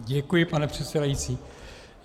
Děkuji, pane předsedající.